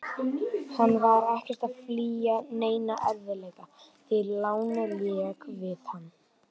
Hann var ekkert að flýja neina erfiðleika, því lánið lék við hann.